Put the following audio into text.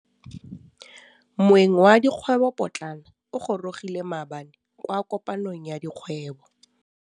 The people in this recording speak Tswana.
Moêng wa dikgwêbô pôtlana o gorogile maabane kwa kopanong ya dikgwêbô.